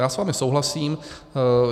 Já s vámi souhlasím.